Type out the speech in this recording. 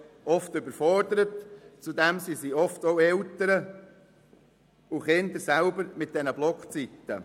Die Überforderung trifft mit den Blockzeiten häufig auch die Kinder selber und deren Eltern.